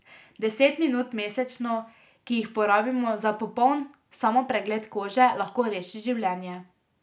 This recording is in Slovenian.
Deset minut mesečno, ki jih porabimo za popoln samopregled kože, lahko reši življenje.